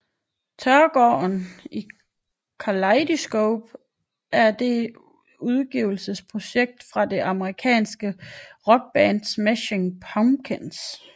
Teargarden by Kaleidyscope er det et udgivelsesprojekt fra det amerikanske rockband Smashing Pumpkins